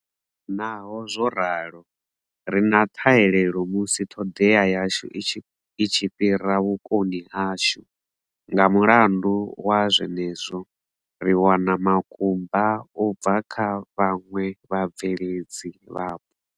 Naho zwo ralo, ri na ṱhahelelo musi ṱhoḓea yashu i tshi fhira vhukoni hashu, nga mulandu wa zwenezwo, ri wana makumba u bva kha vhaṅwe vhabveledzi vhapo.